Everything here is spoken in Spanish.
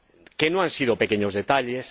Que no han sido pequeños detalles.